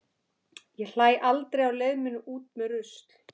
Ég hlæ aldrei á leið minni út með rusl.